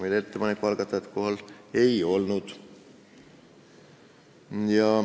Ettepaneku algatajat kohal ei olnud.